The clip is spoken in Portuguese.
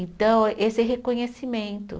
Então, esse reconhecimento.